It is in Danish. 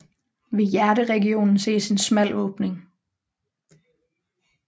Ved hjerteregionen ses en smal åbning